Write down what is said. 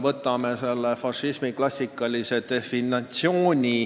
Võtame fašismi klassikalise definitsiooni.